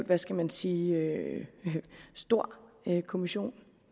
hvad skal man sige relativt stor kommission